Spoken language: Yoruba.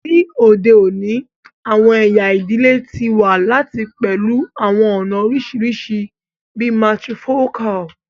Ni ode oni, awọn ẹya idile ti wa lati pẹlu awọn ọna oriṣiriṣi bii matrifocal